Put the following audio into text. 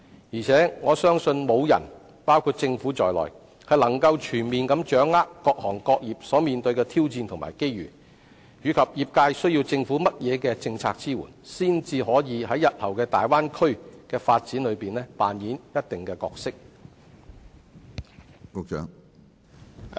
而且，我相信沒有人可以全面掌握各行各業所面對的挑戰和機遇，以及業界需要政府以怎樣的政策來支援，才可在日後的大灣區發展中擔當一定的角色。